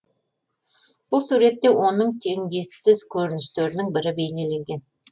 бұл суретте оның теңдессіз көріністерінің бірі бейнеленген